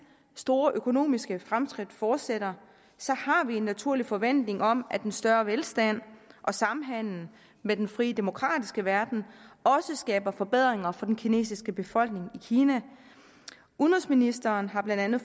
store økonomiske fremskridt fortsætter har vi en naturlig forventning om at en større velstand og samhandel med den frie demokratiske verden også skaber forbedringer for den kinesiske befolkning i kina udenrigsministeren har blandt andet